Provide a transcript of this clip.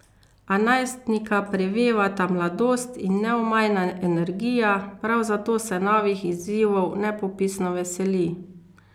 A najstnika prevevata mladost in neomajna energija, prav zato se novih izzivov nepopisno veseli.